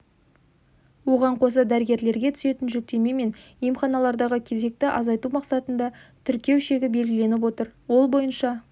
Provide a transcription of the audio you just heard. оған қоса дәрігерлерге түсетін жүктеме мен емханалардағы кезекті азайту мақсатында тіркеу шегі белгіленіп отыр ол бойынша